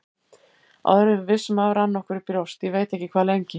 Áður en við vissum af rann okkur í brjóst, ég veit ekki hvað lengi.